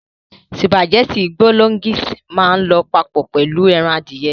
Spàgẹ́ti bologínísìì máà ń lọ papọ̀ pẹ̀lu ẹran adìyẹ.